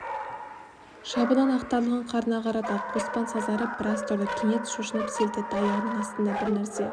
шабынан ақтарылған қарны ағарады қоспан сазарып біраз тұрды кенет шошынып селт етті аяғының астында бір нәрсе